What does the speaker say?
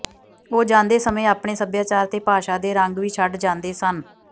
ਉਹ ਜਾਂਦੇ ਸਮੇਂ ਆਪਣੇ ਸੱਭਿਆਚਾਰ ਤੇ ਭਾਸ਼ਾ ਦੇ ਰੰਗ ਵੀ ਛੱਡ ਜਾਂਦੇ ਸਨ